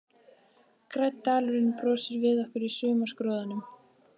Grænn dalurinn brosir við okkur í sumarskrúðanum.